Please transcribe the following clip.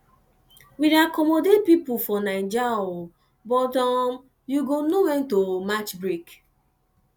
we dey accommodate pipu for naija um but you um go know wen to match break